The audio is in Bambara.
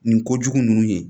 Nin ko jugu ninnu ye